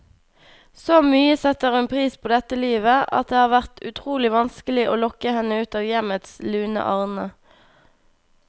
Så mye setter hun pris på dette livet, at det har vært utrolig vanskelig å lokke henne ut av hjemmets lune arne.